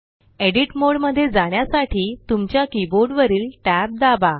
edit mode मध्ये जाण्यासाठी तुमच्या कीबोर्ड वरील tab दाबा